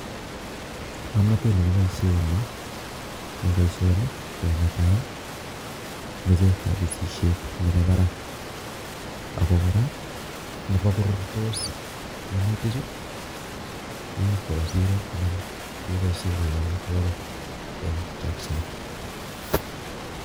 Ng'omnotet nekiboisie ni ing' boisioni ko netai meche kabesisiet nebo barak ako kora nebo korurtos minutikchu keib koba siro anan keboisie koek amitwogik eng' chakchinet